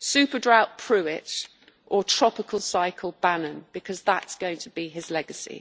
Super Drought Pruitt, or Tropical Cycle Bannon, because that is going to be his legacy.